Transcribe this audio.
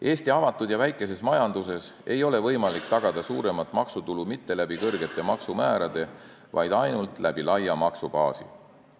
Eesti avatud ja väikeses majanduses ei ole võimalik tagada suuremat maksutulu mitte kõrgete maksumääradega, vaid ainult laia maksubaasi abil.